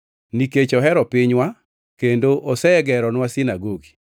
nikech ohero pinywa kendo osegeronwa sinagogi.”